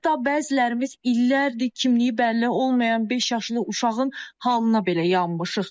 Hətta bəzilərimiz illərdir kimliyi bəlli olmayan beş yaşlı uşağın halına belə yanmışıq.